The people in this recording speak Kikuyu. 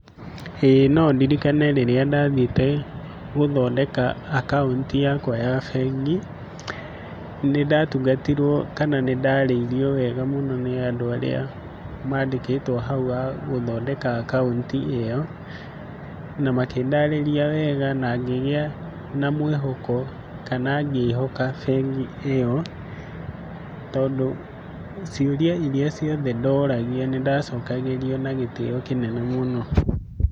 Ĩĩ no ndĩrikane rĩrĩa ndathiĩte gũthondeka akaũnti yakwa ya bengi, nĩndatungatirwo kana nĩ ndarĩirwo wega mũno nĩ andũ arĩa mandĩkĩtwo hau a gũthondeka akaũnti ĩyo, na makĩndarĩria wega, na ngĩgĩa na mwĩhoko, kana ngĩhoka bengĩ ĩyo, tondũ ciũria iria ciothe ndoragia, nĩndacokagĩrio na gĩtĩyo kĩnene mũno.